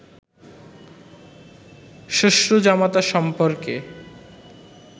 শ্বশ্রু-জামাতা সম্পর্কে